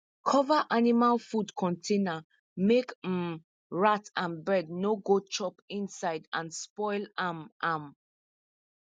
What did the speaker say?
cover animal food container make um rat and bird no go chop inside and spoil am am